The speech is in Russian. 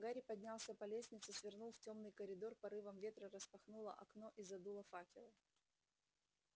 гарри поднялся по лестнице свернул в тёмный коридор порывом ветра распахнуло окно и задуло факелы